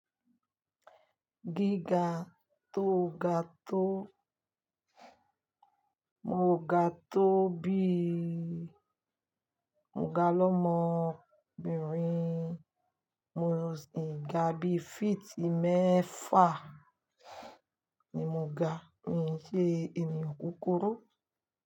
Gíga tó ga tó, mo ò ga tó bí i, mo ga lọ́mọ obìnrin, mo sì ń ga bí i feet mẹ́fà ni mo ga, mi ò ṣe ènìyàn kúkúrú.